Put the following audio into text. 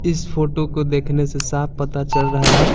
इस फोटो को देखने से साफ पता चल रहा है।